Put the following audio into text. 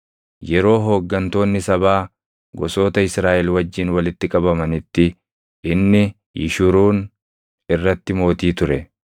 Yeroo hooggantoonni sabaa gosoota Israaʼel wajjin walitti qabamanitti inni Yishuruun irratti mootii ture.